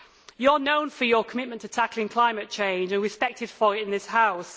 You are known for your commitment to tackling climate change and are respected for it in this House.